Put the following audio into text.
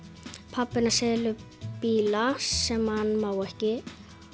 pabbi hennar selur bíla sem hann má ekki